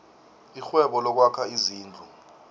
irhwebo lokwakha izindlu